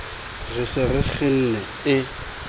re se re kgenne e